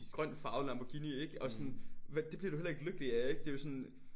Grøn farvet Lamborghini ikke? Og sådan det bliver du heller ikke lykkelig af ikke det jo sådan